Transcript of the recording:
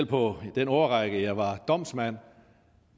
på den årrække jeg selv var domsmand